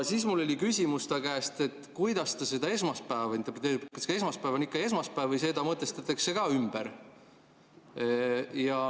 Siis mul oli küsimus talle, kuidas ta esmaspäeva interpreteerib, kas esmaspäev on ikka esmaspäev või see mõtestatakse ka ümber.